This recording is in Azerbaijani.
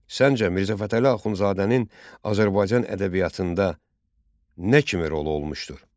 Səncə, Mirzə Fətəli Axundzadənin Azərbaycan ədəbiyyatında nə kimi rolu olmuşdur?